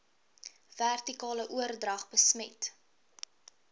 vertikale oordrag besmet